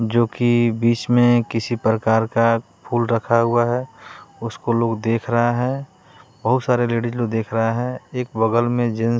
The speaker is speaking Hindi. जो कि बीच में किसी प्रकार का फूल रखा हुआ है उसको लोग देख रहा है बहुत सारे लेडीज लोग देख रहा है एक बगल में जेन--